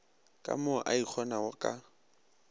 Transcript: ka mo a ikgonago ka